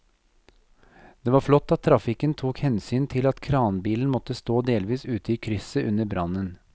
Det var flott at trafikken tok hensyn til at kranbilen måtte stå delvis ute i krysset under brannen.